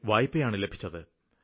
5 ലക്ഷം വായ്പയാണ് ലഭിച്ചത്